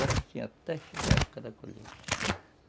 Era assim até chegar a época da colheita.